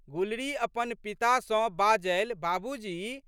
गुलरी अपन पिता सँ बाजलि, बाबूजी!